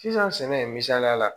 Sisan sɛnɛ misaliya la